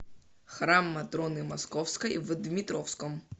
храм матроны московской в дмитровском